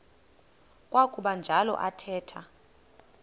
kwakuba njalo athetha